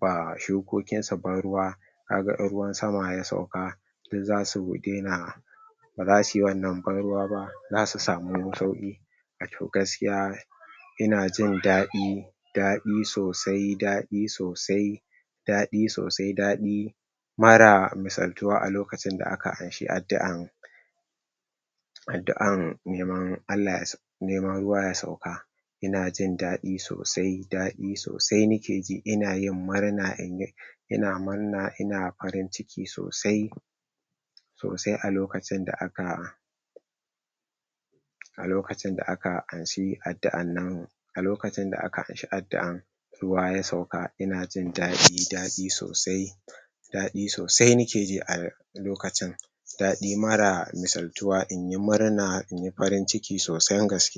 ba shukokin su ban ruwa kaga in ruwan sama ya sauka duk zasu dena ba zasuyi wannan ban ruwa ba, za su samu sauƙi. Wato gaskiya ina jin daɗi daɗi sosai daɗi sosai daɗi sosai daɗi mara misaltuwa a lokacin da aka amshi addu'an addu'an neman Allah yasa neman ruwa ya sauka, inajin daɗi sosai daɗi sosai nikeji, inayin murna inyi ina murna ina farin ciki sosai sosai a lokacin da aka a lokacin da aka anshi addu'an nan, a lokacin da aka anshi addu'an ruwa ya sauka, inajin daɗi daɗi sosai daɗi sosai nikeji a lokacin, daɗi mara misaltuwa, inyi murna inyi farin ciki sosan gaske.